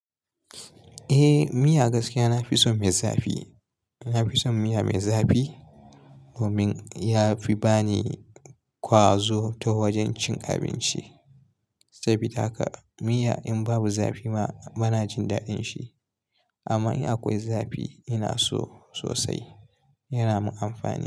Eh miya gaskiya nafi son mai zafi. Nafi son miya mai zafi domin yafi bani ƙwazo ta wajen cin abinci. Saboda haka miya in babu zafi ma bana jin daɗin shi amma in akwai zafi ina so sosai, yana mun amfani.